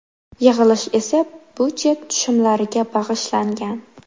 Yig‘ilish esa budjet tushumlariga bag‘ishlangan.